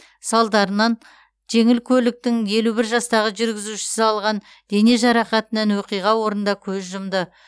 салдарынан жеңіл көліктің елу бір жастағы жүргізушісі алған дене жарақатынан оқиға орнында көз жұмды